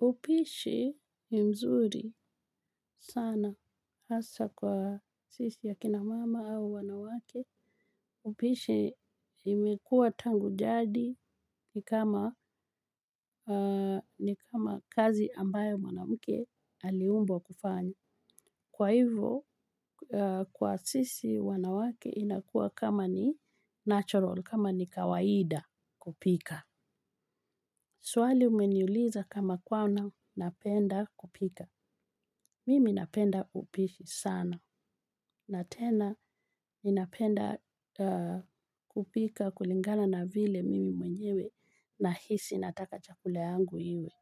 Upishi ni mzuri sana hasa kwa sisi akina mama au wanawake, upishi imekuwa tangu jadi ni kama ni kama kazi ambayo mwanamke aliumbwa kufanya. Kwa hivyo, kwa sisi wanawake inakuwa kama ni natural, kama ni kawaida kupika. Swali umeniuliza kama kuwa napenda kupika. Mimi napenda upishi sana na tena ninapenda kupika kulingana na vile mimi mwenyewe nahisi nataka chakule yangu iwe.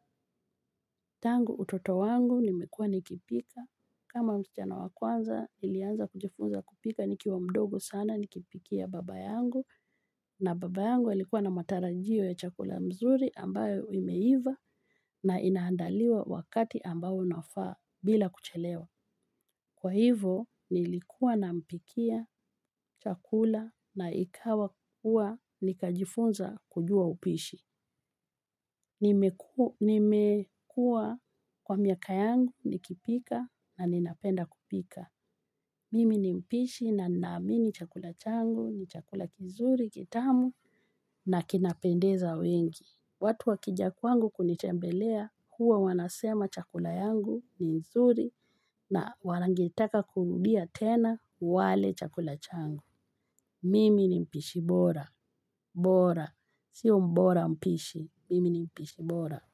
Tangu utoto wangu nimekuwa nikipika. Kama msichana wa kwanza nilianza kujifunza kupika nikiwa mdogo sana nikipikia baba yangu na baba yangu alikuwa na matarajio ya chakula mzuri ambayo imeiva na inaandaliwa wakati ambao unafaa bila kuchelewa. Kwa hivyo nilikuwa nampikia chakula na ikawa kuwa nikajifunza kujua upishi. Nimekuwa kwa miaka yangu nikipika na ninapenda kupika. Mimi ni mpishi na ninaamini chakula changu ni chakula kizuri kitamu na kinapendeza wengi. Watu wakija kwangu kunitembelea huwa wanasema chakula yangu ni nzuri na wangetaka kurudia tena wale chakula changu. Mimi ni mpishi bora, bora, siyo bora mpishi, mimi ni mpishi bora.